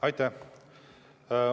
Aitäh!